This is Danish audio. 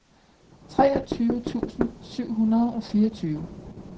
treogtyve tusind syv hundrede og fireogtyve